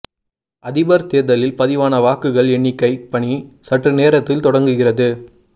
அதிபர் தேர்தலில் பதிவான வாக்குகள் எண்ணிக்கை பணி சற்று நேரத்தில் தொடங்குகிறது